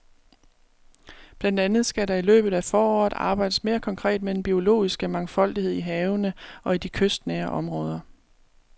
Blandt andet skal der i løbet af foråret arbejdes mere konkret med den biologiske mangfoldighed i havene og i de kystnære områder.